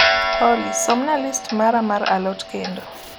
olly somna list mara mar a lot kendo